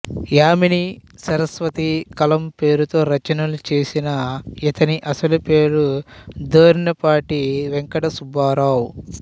యామినీ సరస్వతి కలంపేరుతో రచనలు చేసిన ఇతని అసలు పేరు దొర్నిపాటి వేంకట సుబ్బారావు